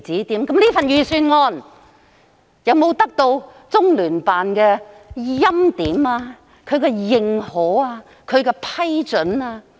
請問這份預算案有沒有得到中聯辦的欽點、認可和批准？